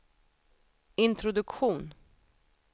introduktion